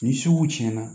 Ni sugu cɛnna